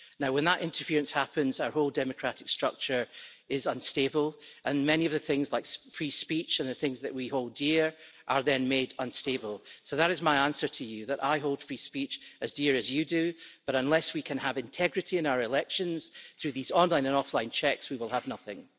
When that interference happens, our whole democratic structure is unstable, and many of the things like free speech and the things that we hold dear are then made unstable. That is my answer to you that I hold free speech as dear as you do, but unless we can have integrity in our elections through these online and offline checks, we will have nothing.